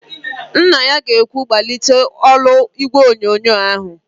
Nna ya ga-ekwu, "gbalite olu ígwèonyonyo ahụ"!.